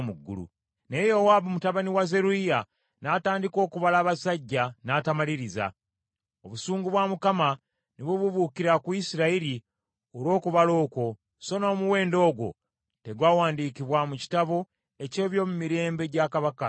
Naye Yowaabu mutabani wa Zeruyiya n’atandika okubala abasajja, n’atamaliriza. Obusungu bwa Mukama ne bubuubuukira ku Isirayiri olw’okubala okwo, so n’omuwendo ogwo tegwawandiikibwa mu kitabo eky’ebyomumirembe gya kabaka Dawudi.